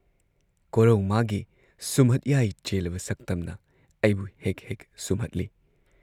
ꯀꯣꯔꯧ ꯃꯥꯒꯤ ꯁꯨꯝꯍꯠꯌꯥꯏ ꯆꯦꯜꯂꯕ ꯁꯛꯇꯝꯅ ꯑꯩꯕꯨ ꯍꯦꯛ ꯍꯦꯛ ꯁꯨꯝꯍꯠꯂꯤ ꯫